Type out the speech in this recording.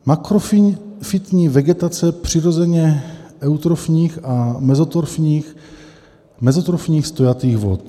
Makrofytní vegetace přirozeně eutrofních a mezotrofních stojatých vod.